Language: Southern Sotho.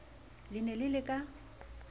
le ne le le ka